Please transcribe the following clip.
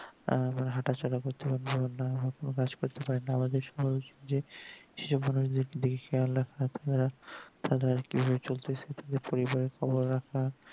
তারা হাঁটাচলা করতে পারেনা তারা হয়তো কাজ করতে পারেনা আমাদের সহজ যে সেই মানুষদের চলতেছে পরিবারের সবাইরা